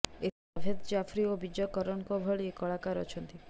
ଏଥିରେ ଜାଭେଦ୍ ଜାଫ୍ରି ଓ ବିଜୟ କରଣଙ୍କ ଭଳି କଳାକାର ଅଛନ୍ତି